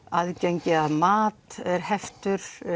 aðgengi að mat er heft